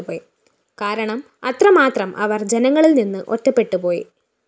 കാരണം അത്രമാത്രം അവര്‍ ജനങ്ങളില്‍ നിന്ന് ഒറ്റപ്പെട്ടുപോയി